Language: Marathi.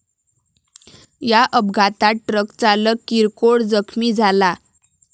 या अपघातात ट्रकचालक किरकोळ जखमी झाला.